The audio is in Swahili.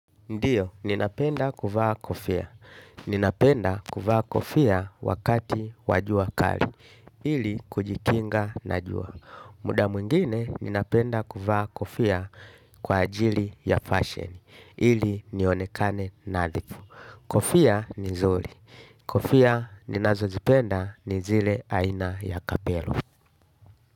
Ndiyo ninapenda kuvaa kofia. Ninapenda kuvaa kofia wakati wajua kali, ili kujikinga na jua. Muda mungine, ninapenda kuvaa kofia kwa ajili ya fashion, ili nionekane naadifu. Kofia ni nzuri. Kofia ninazo zipenda ni zile aina ya kapelo.